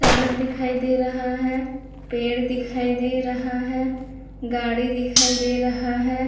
सड़क दिखाई दे रहा है पेड़ दिखाई दे रहा है गाड़ी दिखाई दे रहा है।